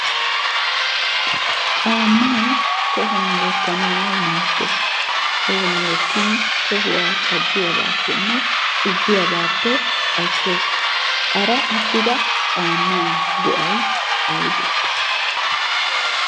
Caammay tohuwan wottanawu maaddes. Tohuwan wottin tohuwa caddiyabaappenne xubbiyabaappe ashshees. Hara attida caammaa go'ay ayibee?